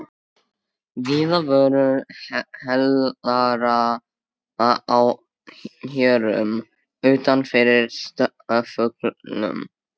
Víða voru hlerar á hjörum utan yfir stofugluggum.